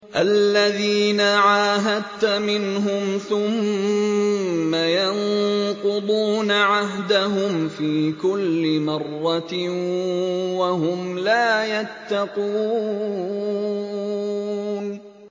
الَّذِينَ عَاهَدتَّ مِنْهُمْ ثُمَّ يَنقُضُونَ عَهْدَهُمْ فِي كُلِّ مَرَّةٍ وَهُمْ لَا يَتَّقُونَ